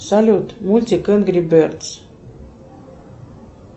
салют мультик энгри бердс